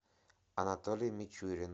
анатолий мичурин